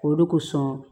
O de kosɔn